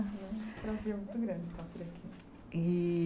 É um prazer muito grande estar por aqui. E